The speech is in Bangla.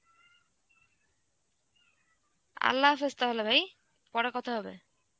Arbi তাহলে ভাই, পরে কথা হবে.